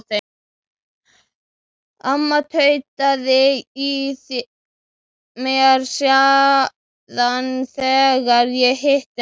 Amma tautaði í mér síðast þegar ég hitti hana.